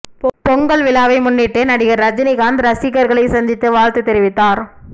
பொங்கல் விழாவை முன்னிட்டு நடிகர் ரஜினிகாந்த் ரசிகர்களை சந்தித்து வாழ்த்து தெரிவித்தார்